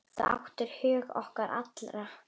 Þú áttir hug okkar allra.